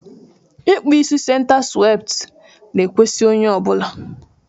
ikpụ isi senta swepti na-ekwesi onye ọ bụla